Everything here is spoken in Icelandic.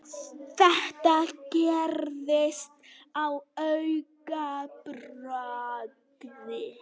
Þetta gerðist á augabragði.